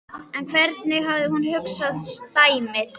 En hvernig hafði hún hugsað dæmið?